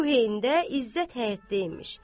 Bu heydə İzzət həyətdəymiş.